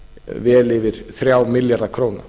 vel yfir þrjá milljarða króna